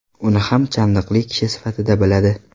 Uni ham chandiqli kishi sifatida biladi.